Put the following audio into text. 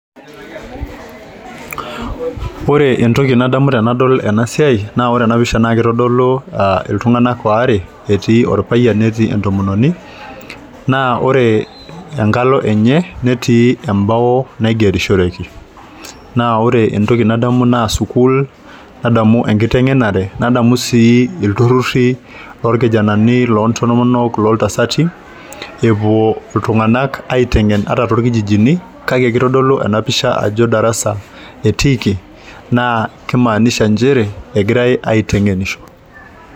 Ore entoki nadamu tenadol ena siai naa ore ena pisha naa kitodolu uh iltung'anak waare etii orpayian netii entomononi naa ore enkalo enye netii embao naigerishoreki naa oree entoki nadamu naa sukuul nadamu enkiteng'enare nadamu sii ilturruri lorkijanani lontomonok loltasati epuo iltung'anak aiteng'en ata torkijijini kake kitodolu ena pisha ajo darasa etiiki naa kimaanisha nchere egirae aiteng'enisho.